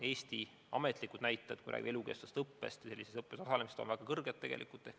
Eesti ametlikud näitajad, kui me räägime elukestvast õppest, on tegelikult väga kõrged.